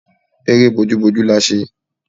Eré bójú bójú la ṣe